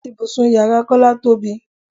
Ibùsùn ìyára Kọ́lá tóbi.